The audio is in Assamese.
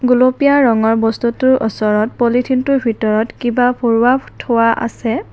গুলপীয়া ৰঙৰ বস্তুটোৰ ওচৰত পলিথিনটোৰ ভিতৰত কিবা ভৰোৱা ফ্ থোৱা আছে।